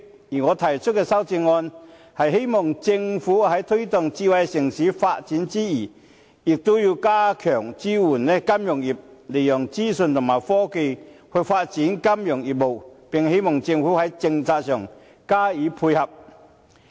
而我提出的修正案，是希望政府在推動智慧城市發展之餘，也要加強支援金融業，利用資訊和科技發展金融業務，並希望政府在政策上加以配合。